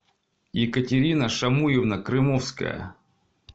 екатерина шамуевна крымовская